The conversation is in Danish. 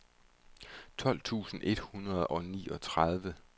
tolv tusind et hundrede og niogtredive